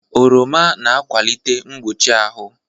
Oroma na-akwalite mgbochi ahụ.